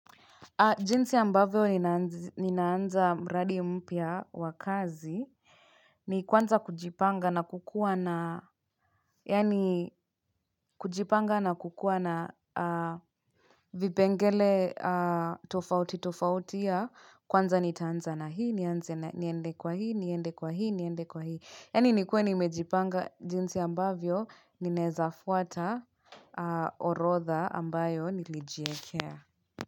Jinsi ambavyo ninaanza mradi mpya wa kazi ni kwanza kujipanga na kukuwa na vipengele tofauti tofauti ya kwanza nitaanza na hii niende kwa hii niende kwa hii niende kwa hii niende kwa hii. Yaani nikue nimejipanga jinsi ambavyo ninaweza fuata orodha ambayo nilijiwekea.